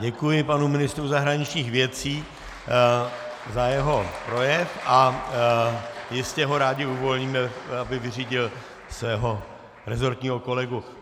Děkuji panu ministru zahraničních věcí za jeho projev a jistě ho rádi uvolníme, aby vyřídil svého rezortního kolegu.